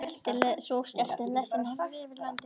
Svo skrölti lestin norður yfir löndin.